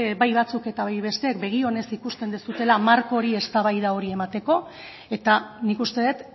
bai batzuk eta bai beste begi onez ikusten duzuela marko hori eztabaida hori emateko eta nik uste dut